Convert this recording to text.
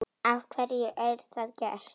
Af hverju er það gert?